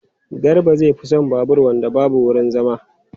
Garba zai fi son babur wanda babu wurin zama.